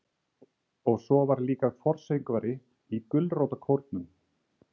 Og svo var ég líka forsöngvari í gulrótarkórnum.